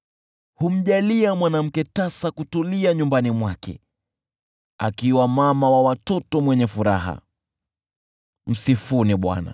Humjalia mwanamke tasa kutulia nyumbani mwake, akiwa mama watoto mwenye furaha. Msifuni Bwana .